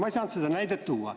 Ma ei saanud seda näidet tuua.